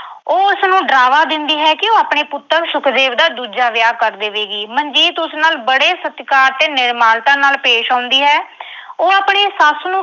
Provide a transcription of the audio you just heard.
ਉਹ ਉਸਨੂੰ ਡਰਾਵਾ ਦਿੰਦੀ ਹੈ ਕਿ ਆਪਣੇ ਪੁੱਤਰ ਸੁਖਦੇਵ ਦਾ ਦੂਜਾ ਵਿਆਹ ਕਰ ਦੇਵੇਗੀ। ਮਨਜੀਤ ਉਸ ਨਾਲ ਬੜੇ ਸਤਿਕਾਰ ਤੇ ਨਿਮਰਤਾ ਨਾਲ ਪੇਸ਼ ਆਉਂਦੀ ਹੈ। ਉਹ ਆਪਣੀ ਸੱਸ ਨੂੰ